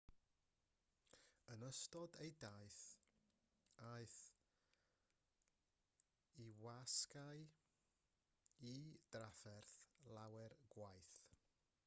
yn ystod ei daith aeth iwasaki i drafferth lawer gwaith